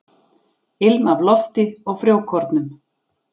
Ilm af lofti og frjókornum.